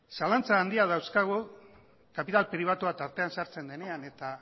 zalantza handiak dauzkagu kapital pribatua tartean sartzen denean eta